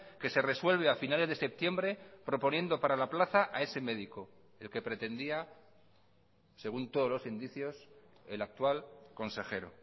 que se resuelve a finales de septiembre proponiendo para la plaza a ese médico el que pretendía según todos los indicios el actual consejero